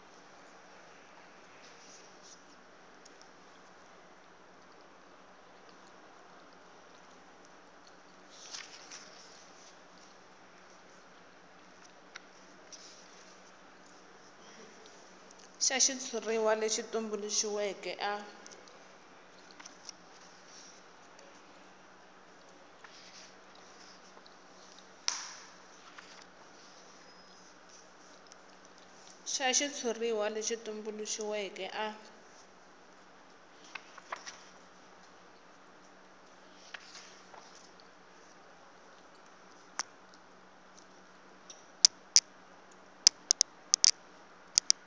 xa xitshuriwa lexi tumbuluxiweke a